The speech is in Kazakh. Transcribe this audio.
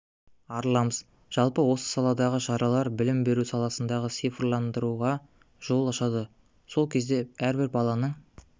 арыламыз жалпы осы саладағы шаралар білім беру саласын цифрландыруға жол ашады сол кезде әрбір баланың